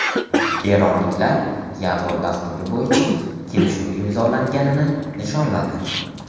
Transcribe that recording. Eronliklar yadro dasturi bo‘yicha kelishuv imzolanganini nishonladi.